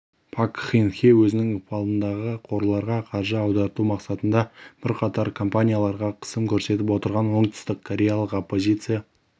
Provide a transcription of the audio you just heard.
пак кын хе өзінің ықпалындағы қорларға қаржы аударту мақсатында бірқатар компанияларға қысым көрсетіп отырған оңтүстіккореялық оппозиция